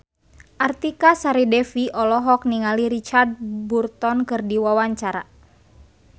Artika Sari Devi olohok ningali Richard Burton keur diwawancara